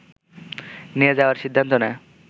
নিয়ে যাওয়ার সিদ্ধান্ত নেয়